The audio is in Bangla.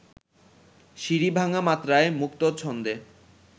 সিঁড়ি-ভাঙা মাত্রায় মুক্ত ছন্দে